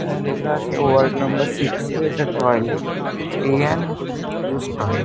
এখানে লেখা আছে ওয়ার্ড নাম্বার সিক্স -এর এটা toilet pay and use toilet --